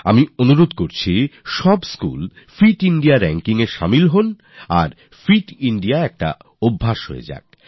আমি অনুরোধ জানাই যে সব স্কুলফিট Indiarankingএ যোগ দিন আর ফিট ইন্দিয়া সহজ স্বভাবে পরিণত হোক